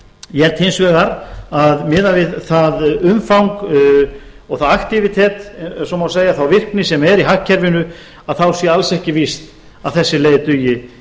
ég held hins vegar að miðað við það umfang og það aktívitet ef svo má segja þá virkni sem er í hagkerfinu að þá sé alls ekki víst að þessi leið dugi eða